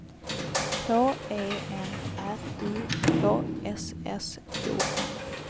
H E N R I K S S O N